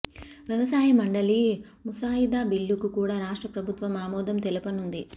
వ్యవసాయ మండలి ముసాయిదా బిల్లుకు కూడా రాష్ట్ర ప్రభుత్వం ఆమోదం తెలుపనుంది